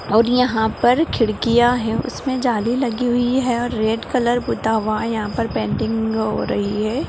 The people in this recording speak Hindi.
और यहाँ पर खिड़कियाँ है उसमे जाली लगी हुई है और रेड कलर पूता हुआ है यहाँ पर पेंटिंग भी हो रही है।